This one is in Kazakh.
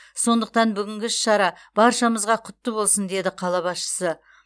сондықтан бүгінгі іс шара баршамызға құтты болсын деді қала басшысы